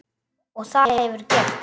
Og það hefurðu gert.